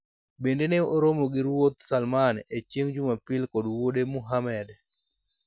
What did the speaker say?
bende ne oromo gi ruoth Salman e chieng' jumapil kod wuode Muhammed